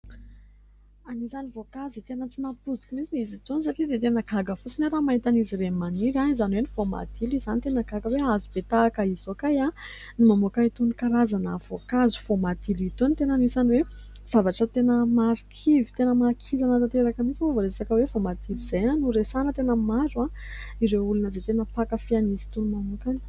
Anisan'ny voankazo tena tsy nampoiziko mihitsin'izy itony satria dia tena gaga fosiny aho raha mahitan'izy ireny maniry, izany hoe ny voamadilo izany ; tena gaga aho hoe hazobe tahaka iizao kay no mamoaka itony karazana voankazo voamadilo itony. Tena anisany hoe zavatra tena marikivy tena mahakirana tanteraka mintsy moa vao resaka hoe voamadilo izay no resahana. Tena maro ireo olona izay tena mpankafy azy itony manokana.